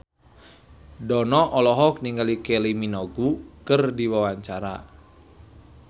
Dono olohok ningali Kylie Minogue keur diwawancara